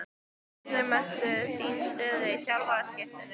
Hvernig meturðu þína stöðu eftir þjálfaraskiptin?